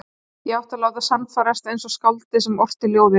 Ég átti að láta sannfærast eins og skáldið sem orti ljóðið.